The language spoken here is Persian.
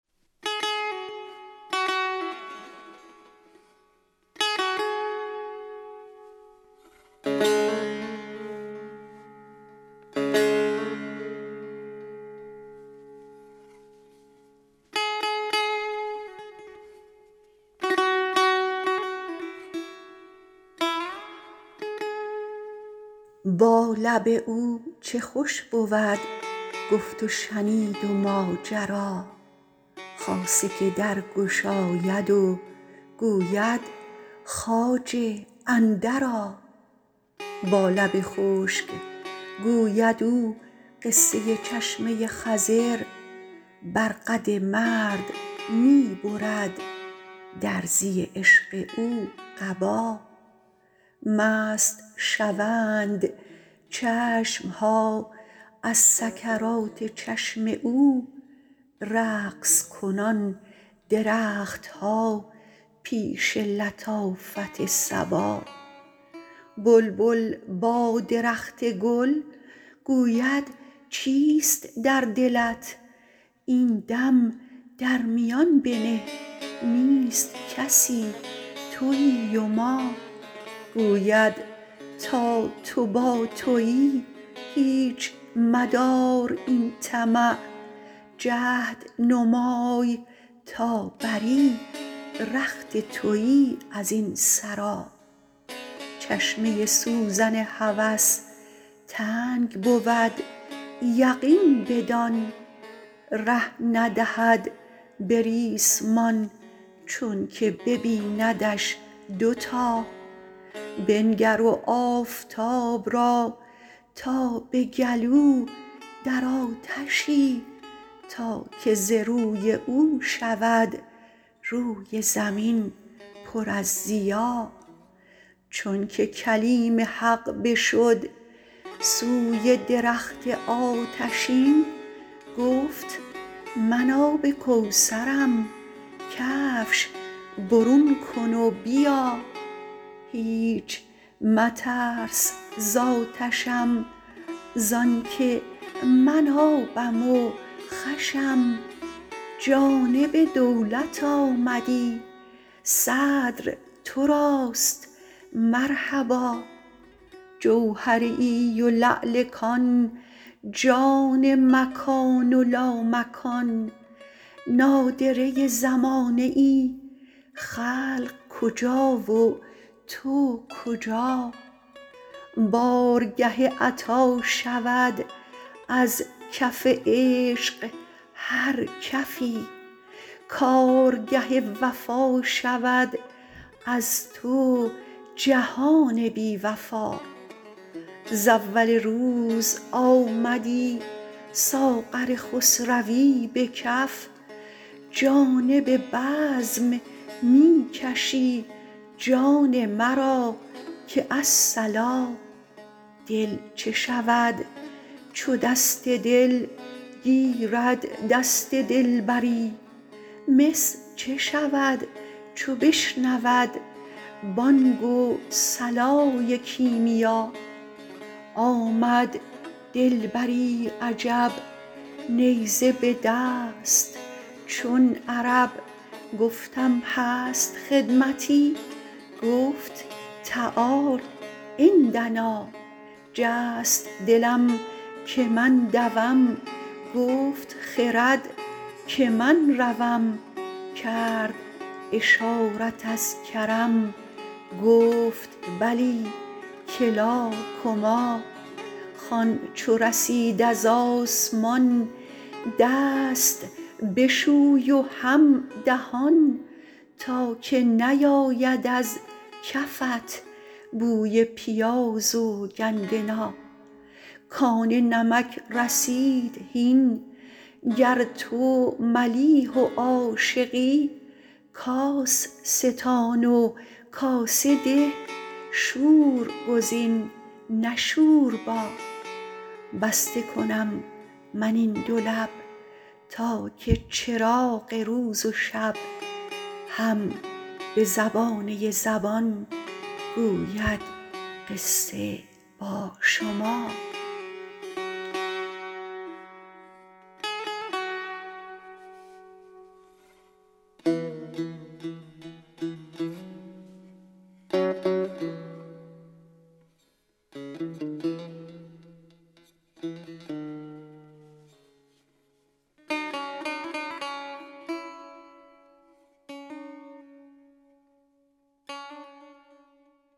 با لب او چه خوش بود گفت و شنید و ماجرا خاصه که در گشاید و گوید خواجه اندرآ با لب خشک گوید او قصه چشمه ی خضر بر قد مرد می برد درزی عشق او قبا مست شوند چشم ها از سکرات چشم او رقص کنان درخت ها پیش لطافت صبا بلبل با درخت گل گوید چیست در دلت این دم در میان بنه نیست کسی توی و ما گوید تا تو با توی هیچ مدار این طمع جهد نمای تا بری رخت توی از این سرا چشمه ی سوزن هوس تنگ بود یقین بدان ره ندهد به ریسمان چونک ببیندش دوتا بنگر آفتاب را تا به گلو در آتشی تا که ز روی او شود روی زمین پر از ضیا چونک کلیم حق بشد سوی درخت آتشین گفت من آب کوثرم کفش برون کن و بیا هیچ مترس ز آتشم زانک من آبم و خوشم جانب دولت آمدی صدر تراست مرحبا جوهریی و لعل کان جان مکان و لامکان نادره ی زمانه ای خلق کجا و تو کجا بارگه عطا شود از کف عشق هر کفی کارگه وفا شود از تو جهان بی وفا ز اول روز آمدی ساغر خسروی به کف جانب بزم می کشی جان مرا که الصلا دل چه شود چو دست دل گیرد دست دلبری مس چه شود چو بشنود بانگ و صلای کیمیا آمد دلبری عجب نیزه به دست چون عرب گفتم هست خدمتی گفت تعال عندنا جست دلم که من دوم گفت خرد که من روم کرد اشارت از کرم گفت بلی کلا کما خوان چو رسید از آسمان دست بشوی و هم دهان تا که نیاید از کفت بوی پیاز و گندنا کان نمک رسید هین گر تو ملیح و عاشقی کاس ستان و کاسه ده شور گزین نه شوربا بسته کنم من این دو لب تا که چراغ روز و شب هم به زبانه ی زبان گوید قصه با شما